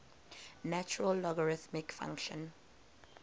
natural logarithm function